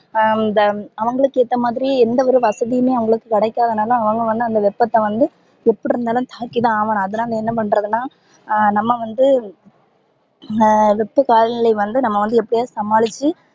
அஹ் இந்த அவங்களுக்கு ஏத்தா மாதிரி எந்த ஒரு வசதியுமே அவங்களுக்கு கிடைகாத நால அவங்க வந்து அந்த வெப்பத வந்து எப்படி இருந்தாலும் தாங்கிதா ஆகணும் அதுனால என்ன பன்றதுனா ஹம் நம்ப வந்து ஹம் வெப்ப காலநிலை வந்து நம்ப வந்து எப்படியாவது சமாளிச்சி